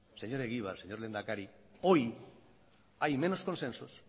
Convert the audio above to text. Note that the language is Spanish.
señor egibar señor lehendakari hoy hay menos consensos